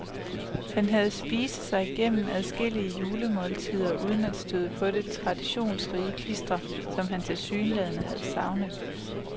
Han havde spise sig gennem adskillige julemåltider uden at støde på dette traditionsrige klister, som han tilsyneladende har savnet.